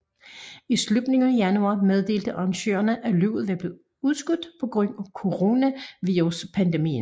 I slutningen af januar meddelte arrangørerne at løbet var blev udskudt på grund af coronaviruspandemien